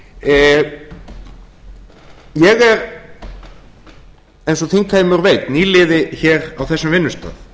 ég er eins og þingheimur veit nýliði hér á þessum vinnustað